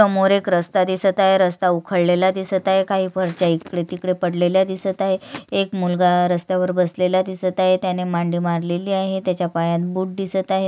समोर एक रस्ता दिसत आहे रस्ता उखडलेला दिसत आहे काही फरच्या इकड तिकडे पडलेल्या दिसत आहे एक मुलगा रस्ता वर बसलेला दिसत आहे त्याने मांडी मारलेली आहे त्याच्या पायात बूट दिसत आहेत.